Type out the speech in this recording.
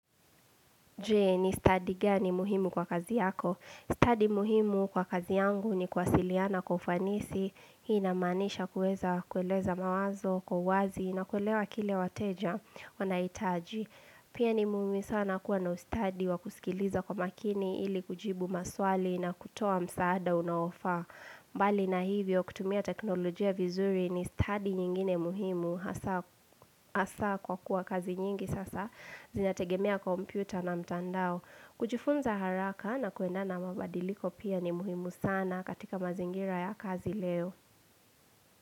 Jee ni studi gani muhimu kwa kazi yako. Studi muhimu kwa kazi yangu ni kuwasiliana kwa kufanisi. Hii inamanisha kuweza kueleza mawazo kwa uwazi na kuelewa kile wateja wanahitaji. Pia ni muhimu sana kuwa na ustadi wa kusikiliza kwa makini ili kujibu maswali na kutoa msaada unaofa. Mbali na hivyo kutumia teknolojia vizuri ni stadi nyingine muhimu. Hasa kwa kuwa kazi nyingi sasa Zinaategemea kompyuta na mtandao kujifunza haraka na kuenda na mabadiliko pia ni muhimu sana katika mazingira ya kazi leo.